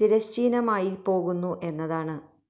തിരശ്ചീനമായി പോകുന്നു എന്നതാണ്